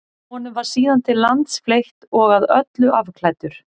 honum var síðan til lands fleytt og að öllu afklæddur